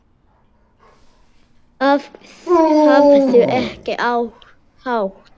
Hafðu ekki hátt!